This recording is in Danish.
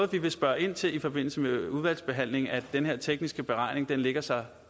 vi vil spørge ind til i forbindelse med udvalgsbehandlingen at den her tekniske beregning lægger sig